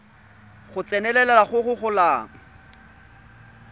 go tsenelela go go golang